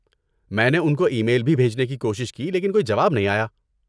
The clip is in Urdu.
میں نے ان کو ای میل بھی بھیجنے کی کوشش کی لیکن کوئی جواب نہیں آیا۔